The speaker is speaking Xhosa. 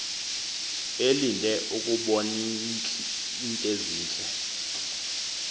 elinde ukuboniint ezintle